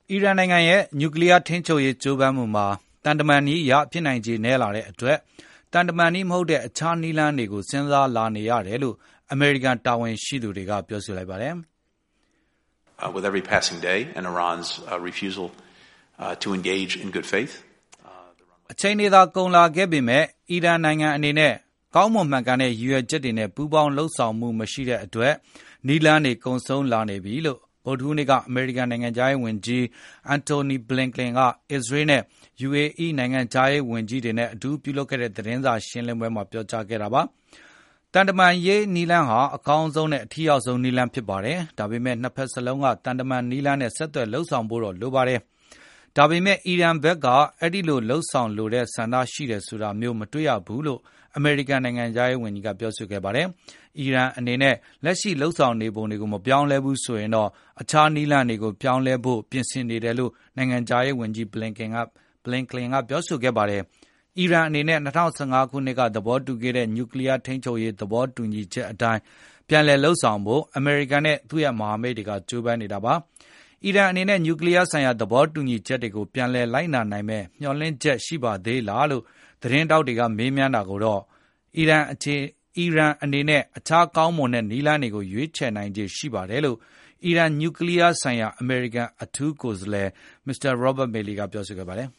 အီရန်နိုင်ငံရဲ့ နျူကလီးယား ထိန်းချုပ်ရေးကြိုးပမ်းမှုတွေမှာ သံတမန်နည်းအရ ဖြစ်နိုင်ခြေနည်းလာတဲ့ အတွက်၊ သံတမန်နည်းမဟုတ်တဲ့အခြားနည်းလမ်းတွေကို စဉ်းစားလာနေရတယ်လို့ အမေရိကန် တာဝန်ရှိသူတွေကပြောဆိုလိုက်ပါတယ်။ "အချိန်တွေသာကုန်လာခဲ့ပေမယ့်၊ အီရန်နိုင်ငံအနေနဲ့ ကောင်းမွန်မှန်ကန်တဲ့ရည်ရွယ်ချက်တွေနဲ့ ပူးပေါင်းဆောင်ရွက်မှုမရှိတဲ့အတွက် နည်းလမ်းတွေကုန်ဆုံးလာနေပြီ "လို့ ကနေ့ ဗုဒ္ဓဟူးနေ့မှာ အမေရိကန် နိုင်ငံခြား ရေးဝန်ကြီး Antony Blinkien က အစ္စရေး နဲ့ UAE နိုင်ငံခြားရေးဝန်ကြီး တွေနဲ့အတူပြု လုပ်ခဲ့တဲ့ သတင်းစားရှင်းလင်းပွဲမှာ ပြောကြားခဲ့ပါတယ်။ သံတမန်ရေးနည်းလမ်းဟာ အကောင်းဆုံးနဲ့အထိရောက်ဆုံးနည်းလမ်းဖြစ်ပါတယ်။ ဒါပေမယ့် နှစ်ဘက်လုံးက သံတမန်နည်လမ်းနဲ့ ဆက်သွယ်လုပ်ဆောင်ဖို့တော့လိုပါတယ်။ ဒါပေမယ့် အီရန်ဖက်က အဲဒီလို လုပ်ဆောင်လိုတဲ့ဆန္ဒရှိတယ်ဆိုတာမျိုး မတွေ့ရပါဘူးလို့ အမေရိကန်နိုင်ငံခြားရေးဝန်ကြီးကပြောဆိုခဲ့ ပါတယ်။ အီရန်အနေနဲ့ လက်ရှိလုပ်ဆောင်နေပုံတွေကိုမပြောင်းလည်းဘူးဆိုရင်တော့ အခြားနည်း လမ်းတွေကိုပြောင်းလဲဖို့ပြင်ဆင်နေတယ်လို့ နိုင်ငံခြားရေးဝန်ကြီး Blinkien ကပြောဆိုခဲ့ပါတယ်။ အီရန်အနေနဲ့ ၂၀၁၅ ခုနှစ်က သဘောတူခဲ့တဲ့ နျူကလီးယား ထိန်းချုပ်ရေးသဘောတူညီချက်အတိုင်း ပြန်လည်လုပ်ဆောင်ဖို့ အမေရိကန်နဲ့ သူ့ရဲ့မဟာမိတ်တွေကကျိုးပမ်းနေတာပါ။ အီရန်အနေနဲ့ နျူကလီးယားဆိုင်ရာသဘောတူညီချက်တွေကို ပြန်လည်လိုက်နာနိုင်မယ့်မျှော်လင့်ချက်ရှိပါသေးလားလို့ သတင်းထောက်တွေကမေးမြန်းတာကိုတော့ အီရန်အနေနဲ့ အခြားကောင်းမွန်တဲ့ နည်းလမ်းတွေကို ရွေးချယ်နိုင်ခြေရှိပါတယ်လို့ အီရန် နျူကလီးယားဆိုင်ရာအမေရိကန်အထူး ကိုယ်စားလှယ် Robert Malley ကတော့ ပြောဆိုခဲ့ပါတယ်